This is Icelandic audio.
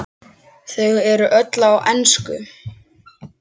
Þau eru öll á ensku.